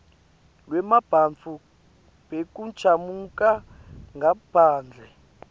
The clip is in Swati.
lwebantfu bekuchamuka ngaphandle